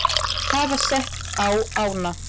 hafa sett á ána.